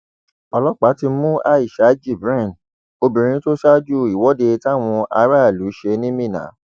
ọlọpàá ti mú aisha jibrin obìnrin tó ṣáájú ìwọde táwọn aráàlú ṣe ní minna